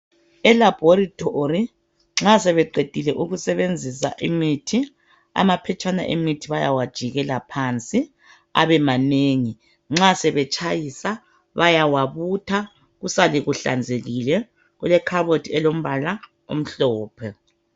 E laboratory nxa sebeqedile ukusebenzisa imithi amaphetshana emithi bayawajikela phansi abemanengi nxa sebetshayisa bayawabutha kusale kuhlanzekile kulekhabothi elombala omhlophe.